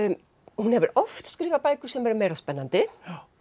hún hefur oft skrifað bækur sem eru meira spennandi